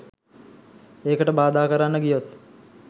ඒකට බාධා කරන්න ගියොත්